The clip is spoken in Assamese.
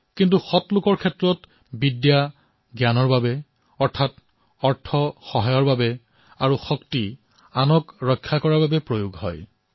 কিন্তু সজ্জনৰ বিদ্যা জ্ঞানৰ বাবে ধন সাহায্যৰ বাবে আৰু শক্তি আনক ৰক্ষা কৰিবলৈ ব্যৱহাৰ কৰা হয়